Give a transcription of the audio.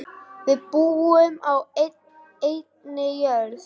Við búum á einni jörð.